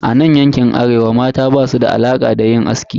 A nan yankin Arewa, mata basu da alaka da yin aski.